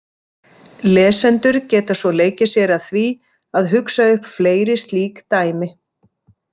Lesendur geta svo leikið sér að því að hugsa upp fleiri slík dæmi.